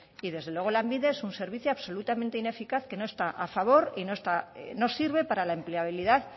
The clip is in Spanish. y desde luego lanbide es un servicio absolutamente ineficaz que no está ni a favor y no sirve para la empleabilidad